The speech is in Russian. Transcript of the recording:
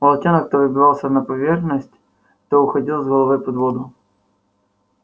волчонок то выбивался на поверхность то уходил с головой под воду